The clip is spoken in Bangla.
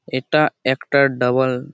এটা একটা ডাবল ।